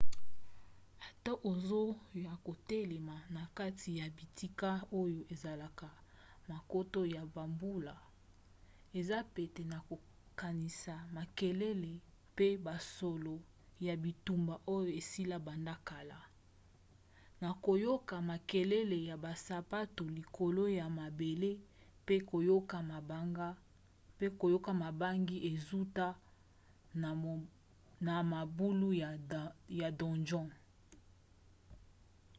ata oza ya kotelema na kati ya bitika oyo esalaka bankoto ya bambula eza pete na kokanisa makelele pe basolo ya bitumba oyo esila banda kala na koyoka makelele ya basapatu likolo ya mabele mpe koyoka bobangi ezouta na mabulu ya donjon